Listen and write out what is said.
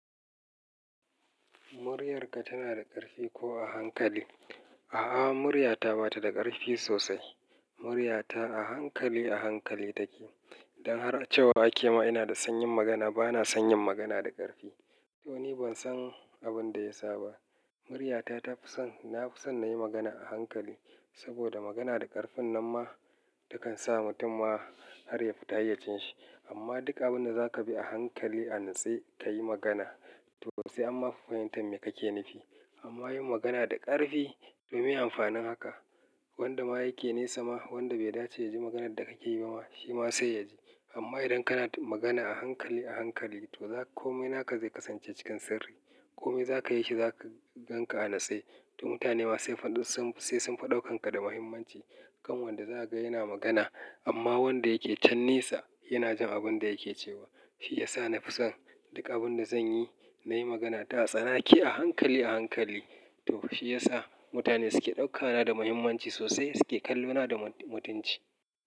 "Muryarka tana da ƙarfi ko a hankali?" A'a, muryata ba ta da ƙarfi sosai. Muryata a hankali a hankali take. Idan har a cewa ake ma ina da sanyin magana, bana sanyin magana da ƙarfi. To ni ban san abin da ya sa ba. Muryata ta fi son, na fi son na yi magana a hankali. Saboda magana da ƙarfin nan ma ta kan sa mutum ma har ya fita hayyacinsa. Amma duka abin da za ka bi a hankali a nitse ka yi magana to sai amma fa fahimtar mai kake nufi. Amma yin magana da ƙarfi, to miye amfanin haka wanda ma yake nesa ma wanda bai dace ya ji maganar da ka ke yi ba ma shi ma sai ya ji. Amma idan kana magana a hankali a hankali to komai naka zai kasance cikin sirri. Komai za ka yi shi za ka gan ka a natsai. To mutane ma sai faɗun sun sai sun fi ɗaukan ka da muhimmanci. Kan wanda za ka ga yana magana amma wanda yake can nesa yana jin abin da yake cewa. Shi ya sa na fi son duka abin da zan yi, na yi magana ta tsanake a hankali a hankali. To shi ya sa mutane su ke ɗaukana da muhimmanci sosai su ke kallona da mutunci.